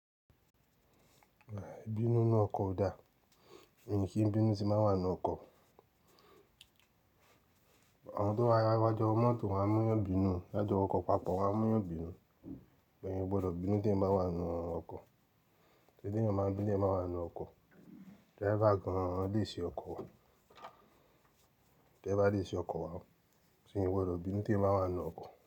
Ẹ̀bínú inú ọkọ̀ dà? Nìkìí bínú ti máa ń wà nínú ọkọ̀. Àwọn tó bá ra wájú ọ mọ́tò wà á múyàn bínú, lájú ọkọ̀ papọ̀ wà á múyàn bínú. Bẹ́ẹ̀ ni o gbọ́dọ̀ bínú tí ẹ bá wà nínú ọkọ̀. Kíni ènìyàn máa ń bínú tí ẹ máa wà nínú ọkọ̀? Driver gan-an lè ṣe ọkọ̀. Driver lè ṣe ọkọ̀ wá. Ṣé ìwọ rò bínú tí ẹ bá wà nínú ọkọ̀?